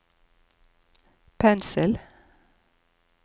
pensel